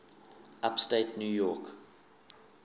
upstate new york